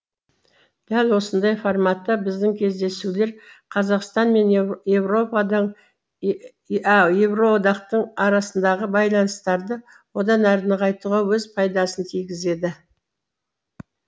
дәл осындай форматта біздің кездесулер қазақстан мен еуроодақтың арасындағы байланыстарды одан әрі нығайтуға өз пайдасын тигізеді